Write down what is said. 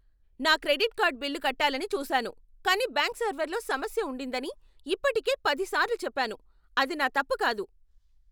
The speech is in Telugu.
నా క్రెడిట్ కార్డ్ బిల్లు కట్టాలని చూసాను కానీ బ్యాంక్ సర్వర్లో సమస్య ఉండిందని ఇప్పటికే పదిసార్లు చెప్పాను. అది నా తప్పు కాదు!